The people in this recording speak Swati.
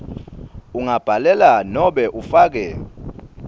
ungabhalela nobe ufake